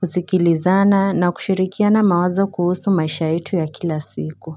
Kusikilizana na kushirikiana mawazo kuhusu maisha yetu ya kila siku.